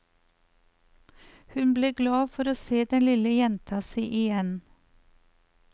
Hun ble glad for å se den lille jenta si igjen.